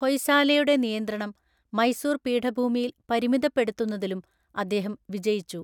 ഹൊയ്സാലയുടെ നിയന്ത്രണം മൈസൂർ പീഠഭൂമിയിൽ പരിമിതപ്പെടുത്തുന്നതിലും അദ്ദേഹം വിജയിച്ചു.